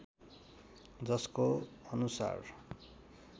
जसको अनुसार